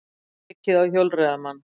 Ekið á hjólreiðamann